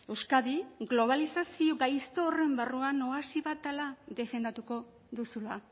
euskadi globalizazio gaizto horren barruan oasi bat dela defendatuko duzula